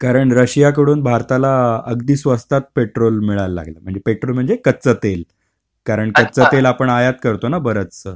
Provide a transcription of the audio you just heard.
कारण रशियाकडून भारताला अगदी स्वस्तात पेट्रोल मिळायला लागलं. म्हणजे, पेट्रोल म्हणजे कच्चं तेल. कारण कच्चं तेल आपण आयात करतो ना बरचसं.